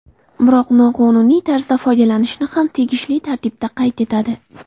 Biroq, noqonuniy tarzda foydalanishni ham tegishli tartibda qayd etadi.